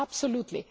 absolutely